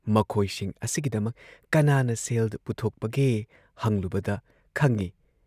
ꯃꯈꯣꯏꯁꯤꯡ ꯑꯁꯤꯒꯤꯗꯃꯛ ꯀꯅꯥꯅ ꯁꯦꯜ ꯄꯨꯊꯣꯛꯄꯒꯦ ꯍꯪꯂꯨꯕꯗ ꯈꯪꯏ‑